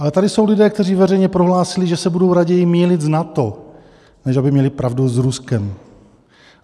Ale tady jsou lidé, kteří veřejně prohlásili, že se budou raději mýlit s NATO, než aby měli pravdu s Ruskem.